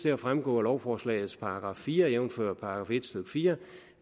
at fremgå af lovforslagets § fire jævnfør § en stykke fire